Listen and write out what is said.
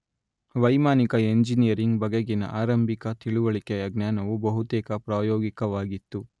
ವೈಮಾನಿಕ ಎಂಜಿನಿಯರಿಂಗ್ ಬಗೆಗಿನ ಆರಂಭಿಕ ತಿಳಿವಳಿಕೆಯ ಜ್ಞಾನವು ಬಹುತೇಕ ಪ್ರಾಯೋಗಿಕವಾಗಿತ್ತು